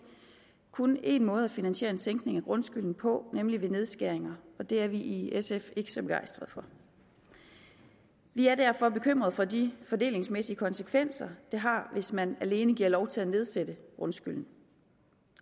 kun én måde at finansiere en sænkning af grundskylden på nemlig ved nedskæringer og det er vi i sf ikke så begejstret for vi er derfor bekymret for de fordelingsmæssige konsekvenser det har hvis man alene giver lov til at nedsætte grundskylden